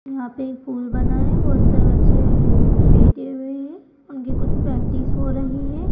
यहां पे पूल बना है बहोत सारे बच्चे लेटे हुए हैं उनकी कुछ प्रैक्टिस हो रही है।